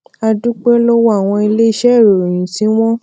a dúpẹ́ lọ́wọ́ àwọn iléeṣé ìròyìn tí wọn